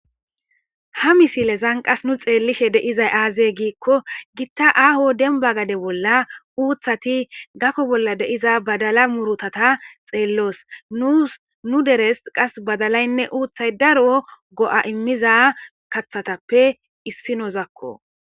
ha misilezan qas nu xeellishe deizay aazey giikko gitta aaho denba gade bolla uuthati gakko bolla deiza badala murotata xeelloos unu deres qas badalaynne uuthay daroo go7a immiza kathatappe issi nozakko